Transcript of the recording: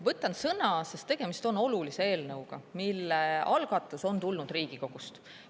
Võtan sõna, sest tegemist on olulise eelnõuga, mille algatus on tulnud Riigikogust.